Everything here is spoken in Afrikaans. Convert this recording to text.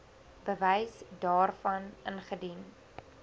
bewys daarvan ingedien